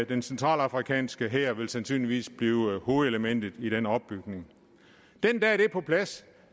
den centralafrikanske hær vil sandsynligvis blive hovedelementet i den opbygning den dag det er på plads